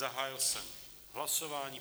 Zahájil jsem hlasování.